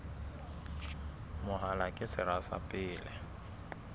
mahola ke sera sa pele